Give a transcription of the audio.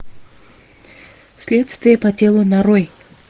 следствие по телу нарой